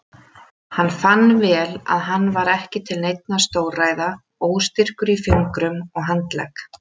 Hann fann vel að hann var ekki til neinna stórræða, óstyrkur í fingrum og handlegg.